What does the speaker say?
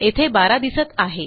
येथे 12दिसत आहे